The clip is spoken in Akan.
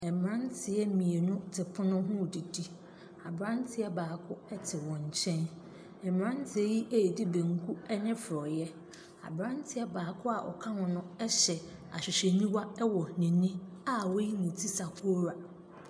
Mmeranteɛ mmienu te pono ho redidi. Aberanteɛ baako te wɔn nkyɛn. Mmeranteɛ yi redi banku ne forɔeɛ. Aberanteɛ baako a ɔka ho ho no hyɛ ahwehwɛniwa wɔ n'ani a wayi ne ti sakora.